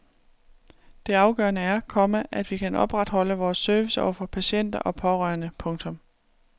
Det afgørende er, komma at vi kan opretholde vores service over for patienter og pårørende. punktum